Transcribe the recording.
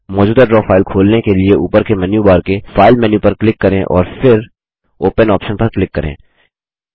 मौजूदा draw file खोलने के लिए ऊपर के मेन्यू बार के फाइल मेन्यू पर क्लिक करें और फिर ओपन आप्शन पर क्लिक करें